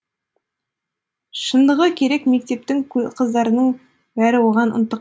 шындығы керек мектептің қыздарының бәрі оған ынтық